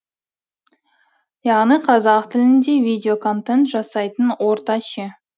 яғни қазақ тілінде видео контент жасайтын орта ше